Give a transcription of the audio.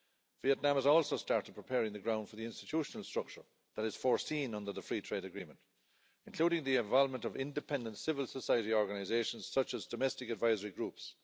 Vietnam has also started preparing the ground for the institutional structure that is foreseen under the Free Trade Agreement, including the involvement of independent civil society organisations, such as domestic advisory groups.